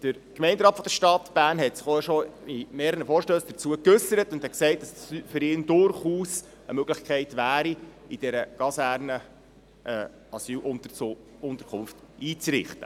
Der Gemeinderat der Stadt Bern hat sich schon bei mehreren Vorstössen dazu geäussert und gesagt, dass es für ihn durchaus eine Möglichkeit wäre, in dieser Kaserne eine Asylunterkunft einzurichten.